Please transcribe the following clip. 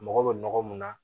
Mago bɛ nɔgɔ mun na